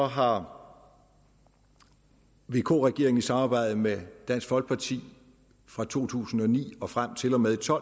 har vk regeringen i samarbejde med dansk folkeparti fra to tusind og ni og frem til og med to